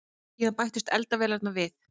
Síðan bættust eldavélarnar við.